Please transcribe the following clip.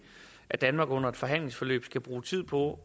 at danmark under et forhandlingsforløb skal bruge tid på